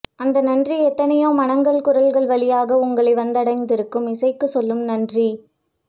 அந்த நன்றி எத்தனையோ மனங்கள் குரல்கள் வழியாக உங்களை வந்தடைந்திருக்கும் இசைக்குச் சொல்லும் நன்றி